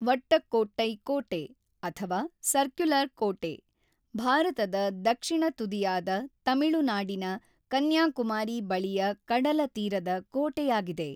ವಟ್ಟಕ್ಕೋಟ್ಟೈ ಕೋಟೆ, ಅಥವಾ ʼಸರ್ಕ್ಯುಲರ್ ಕೋಟೆʼ; ಭಾರತದ ದಕ್ಷಿಣ ತುದಿಯಾದ ತಮಿಳುನಾಡಿನ ಕನ್ಯಾಕುಮಾರಿ ಬಳಿಯ ಕಡಲತೀರದ ಕೋಟೆಯಾಗಿದೆ.